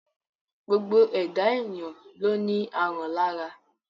Gbogbo ẹ̀dá èyàn ló ní aràn lára.